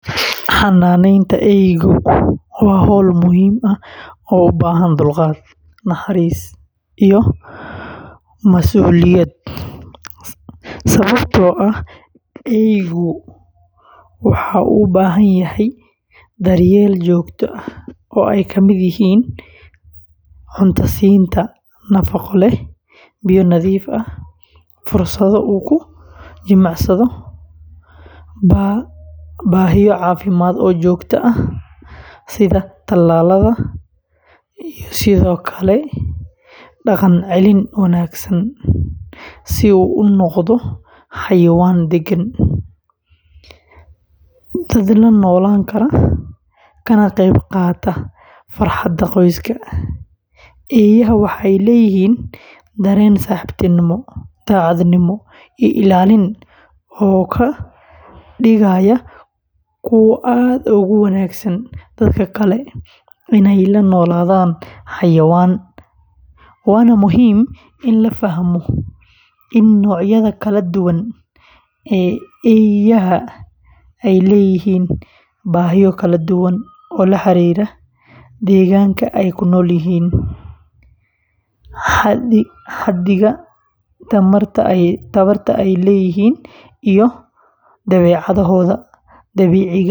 Xanaanaynta eeygu waa hawl muhiim ah oo u baahan dulqaad, naxariis, iyo mas’uuliyad, sababtoo ah eeygu waxa uu u baahan yahay daryeel joogto ah oo ay ka mid yihiin siinta cunto nafaqo leh, biyo nadiif ah, fursado uu ku jimicsado, baahiyo caafimaad oo joogto ah sida tallaalada, iyo sidoo kale dhaqancelin wanaagsan si uu u noqdo xayawaan deggan, dad la noolaan kara, kana qayb qaata farxadda qoyska; eeyaha waxay leeyihiin dareen saaxiibtinimo, daacadnimo, iyo ilaalin oo ka dhigaya kuwo aad ugu wanaagsan dadka jecel inay la noolaadaan xayawaan, waana muhiim in la fahmo in noocyada kala duwan ee eeyaha ay leeyihiin baahiyo kala duwan oo la xiriira deegaanka ay ku nool yihiin, xaddiga tamarta ay leeyihiin.